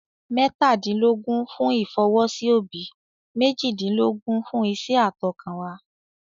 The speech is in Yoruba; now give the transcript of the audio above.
Mẹ́tàdínlógún fún ìfọwọ́sí òbí, méjìdínlógún fún iṣẹ́ àtọkànwá.